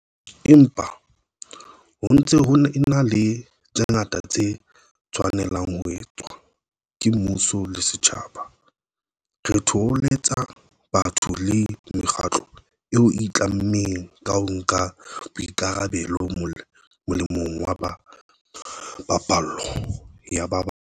Empa, ho ntse ho ena le tse ngata tse tshwanelang ho etswa, ke mmuso le setjhaba. Re thoholetsa batho le mekgatlo eo e itlammeng ka ho nka boikarabelo molemong wa paballo ya ba bang.